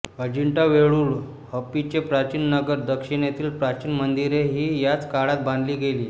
अजिंठा वेरूळ हंपीचे प्राचीन नगर दक्षिणेतील प्राचीन मंदिरे ही याच काळात बांधली गेली